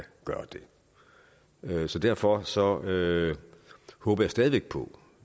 gøre det så derfor så derfor håber jeg stadig væk på